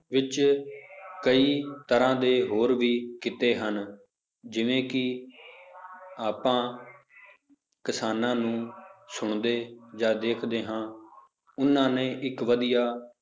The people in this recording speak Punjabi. ਵਿੱਚ ਕਈ ਤਰ੍ਹਾਂ ਦੇ ਹੋਰ ਵੀ ਕਿੱਤੇ ਹਨ, ਜਿਵੇਂ ਕਿ ਆਪਾ ਕਿਸਾਨਾਂ ਨੂੰ ਸੁਣਦੇ ਜਾਂ ਦੇਖਦੇ ਹਾਂ ਉਹਨਾਂ ਨੇ ਇੱਕ ਵਧੀਆ